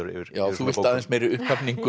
þú vilt aðeins meiri upphafningu